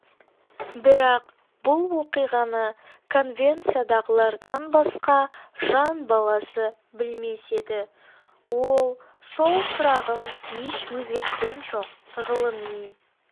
бірақ бұл оқиғаны конвенциядағылардан басқа жан баласы білмес еді ол сол тұрағын еш өзгерткен жоқ ғылыми